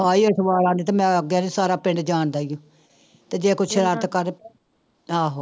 ਆਉਂਦੇ ਤੇ ਮੈਂ ਆਖਿਆ ਸੀ ਸਾਰਾ ਪਿੰਡ ਜਾਣਦਾ ਹੀ ਆ ਤੇ ਜੇ ਕੁਛ ਆਹੋ